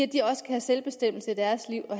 de også har selvbestemmelse i deres liv og